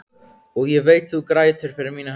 Og ég veit þú grætur fyrir mína hönd.